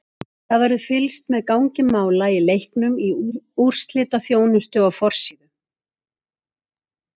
Það verður fylgst með gangi mála í leiknum í úrslitaþjónustu á forsíðu.